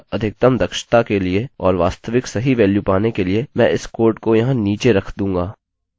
अतःअधिकतम दक्षता के लिए और वास्तविक सही वेल्यू पाने के लिए मैं इस कोड को यहाँ नीचे रख दूँगा